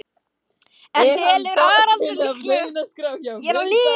En telur Haraldur líklegt að Norðurlöndin nái samstöðu um þetta verkefni?